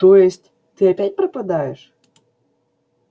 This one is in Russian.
то есть ты опять пропадёшь